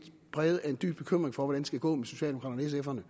præget af en dyb bekymring for hvordan det skal gå med socialdemokraterne